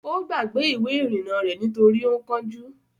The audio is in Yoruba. Ó gbàgbé Ìwé-ìrìnnà rẹ̀ nítorí ó ń kánjú.